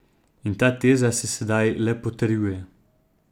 In ta teza se sedaj le potrjuje.